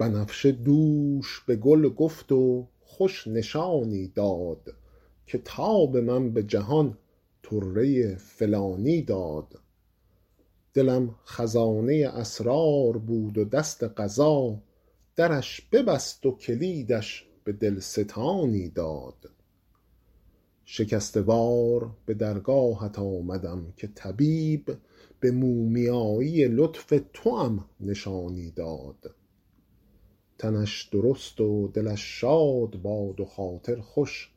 بنفشه دوش به گل گفت و خوش نشانی داد که تاب من به جهان طره فلانی داد دلم خزانه اسرار بود و دست قضا درش ببست و کلیدش به دل ستانی داد شکسته وار به درگاهت آمدم که طبیب به مومیایی لطف توام نشانی داد تنش درست و دلش شاد باد و خاطر خوش